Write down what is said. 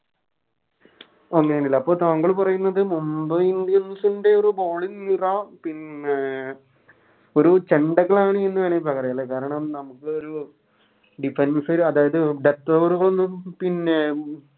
അങ്ങനെയാന്ന് ലെ അപ്പൊ താങ്കൾ പറയുന്നത് Mumbai indians ൻറെ ഒരു Bowling നിര പിന്നെ ഒരു ന്ന് പറയാ ലെ കാരണം നമുക്ക് ഒരു Defence അതായത് മറ്റവർക്കൊന്നും പിന്നെ